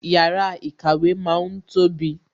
Yàrá ìkàwé ma ń tóbi